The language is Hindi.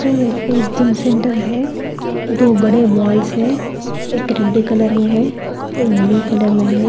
वह एक जिम सेंटर है दो बड़े बॉल्स है एक रेड कलर में है एक ब्लू कलर में है।